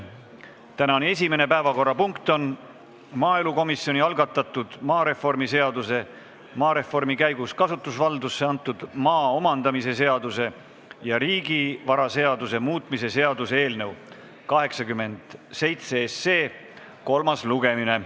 Tänane esimene päevakorrapunkt on maaelukomisjoni algatatud maareformi seaduse, maareformi käigus kasutusvaldusesse antud maa omandamise seaduse ja riigivaraseaduse muutmise seaduse eelnõu 87 kolmas lugemine.